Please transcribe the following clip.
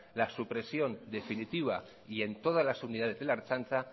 la supresión definitiva y en todas las unidades de la ertzaintza